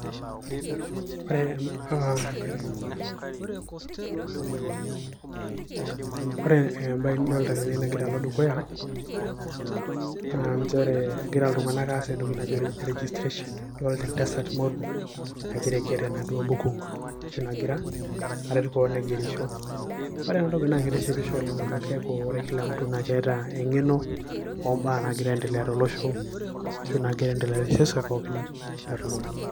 Ore ena bae nidolta tene nagira alo dukuya, na njere egira iltung'anak aas entoki naji registration. Idolta entasat moruo nagira aiger enaduo buku, ashu nagira aret keon aigerisho. Ore enatoki na kitishipisho oleng' amu keeku ore kila mtu na keeta eng'eno ombaa nagira aiendelea tolosho, ashu nagira aendelea teseuseu pookin nalulung'a.